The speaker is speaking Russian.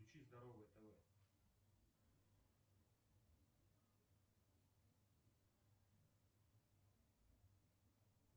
включи здоровое тв